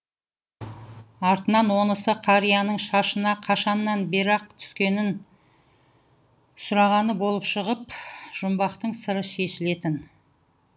артынан онысы қарияның шашына қашаннан бері ақ түскенін сұрағаны болып шығып жұмбақтың сыры шешілетін